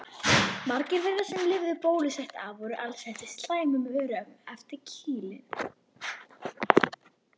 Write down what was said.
Margir þeirra sem lifðu bólusótt af voru alsettir slæmum örum eftir kýlin.